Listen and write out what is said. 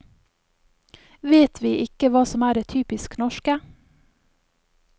Vet vi ikke hva som er det typisk norske?